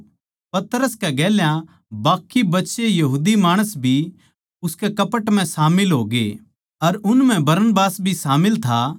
पतरस के गेल्या बाकी बचे यहूदी माणस भी उसके कपट म्ह शामिल होगे अर उन म्ह बरनबास भी शामिल था